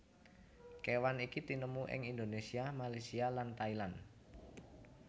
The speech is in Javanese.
Kéwan iki tinemu ing Indonésia Malaysia lan Thailand